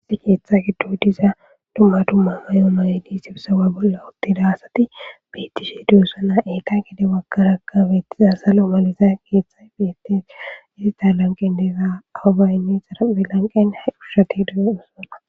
Issi keetha giddo diza dumma dumma mayo mayedi sibusawa bolla uttida asati beettishe dossona etha gede baggaraka beettiza salo maliza keethay bethes keththa lanqen deeza awubaaynne zara lanqen ha kushshati deo'ssona.